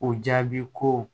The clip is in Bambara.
O jaabi ko